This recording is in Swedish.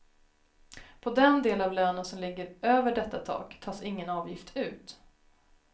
På den del av lönen som ligger över detta tak tas ingen avgift ut.